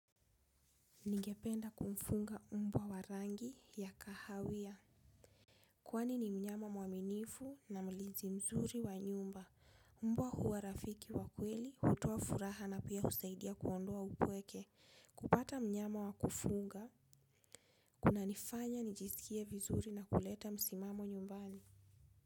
Ningependa kumfunga mbwa wa rangi ya kahawia. Kwani ni mnyama mwaminifu na mulizi mzuri wa nyumba. Mbwa huwa rafiki wa kweli, hutoa furaha na pia husaidia kuondoa upweke. Kupata mnyama wa kufunga, kuna nifanya nijisikie vizuri na kuleta msimamo nyumbani.